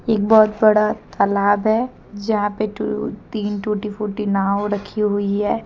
एक बहोत बड़ा तालाब है जहाँ पे टू तीन टूटी फूटी नाव रखी हुई है।